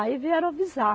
Aí vieram avisar.